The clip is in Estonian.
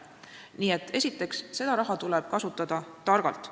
Nii et, esiteks, seda raha tuleb kasutada targalt.